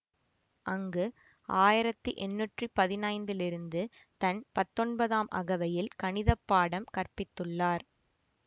அங்கு ஆயிரத்தி எண்ணூற்றி பதினைந்திலிருந்து தன் பத்தொன்பதாம் அகவையில் கணித பாடம் கற்பித்துள்ளார்